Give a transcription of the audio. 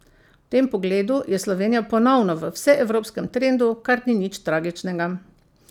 V tem pogledu je Slovenija ponovno v vseevropskem trendu, kar ni nič tragičnega.